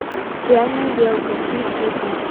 реальная белка включи ка